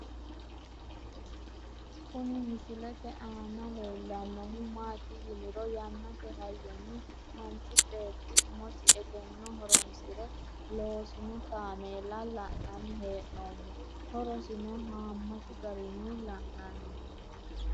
Kuni misilete aana leellannohu maati yiniro yannate hayyonni manchi beetti umosi egenno ho'ronsire loosino kaameela la'nanni hee'noommo ho'rosino haammatu garinni la'nanni